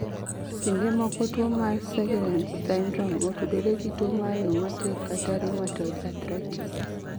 Kinde moko tuwo mar Sjogren's syndrome otudore gi tuwo mar rheumatic kaka rheumatoid arthritis